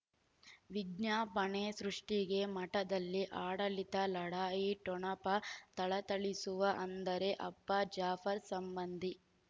ವಿಜ್ಞಾಪನೆ ಸೃಷ್ಟಿಗೆ ಮಠದಲ್ಲಿ ಆಡಳಿತ ಲಢಾಯಿ ಠೊಣಪ ಥಳಥಳಿಸುವ ಅಂದರೆ ಅಪ್ಪ ಜಾಫರ್ ಸಂಬಂಧಿ